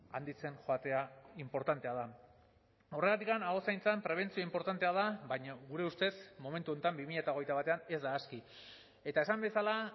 handitzen joatea inportantea da horregatik aho zaintzan prebentzio inportantea da baina gure ustez momentu honetan bi mila hogeita batean ez da aski eta esan bezala